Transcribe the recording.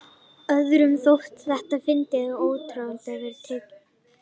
Öðrum þótti þetta fyndið og orðatiltækið var tekið upp í almennri notkun.